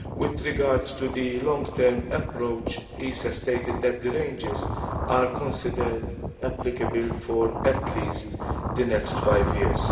With regard to the long term approach, ICES stated that the ranges are considered applicable for at least the next five years.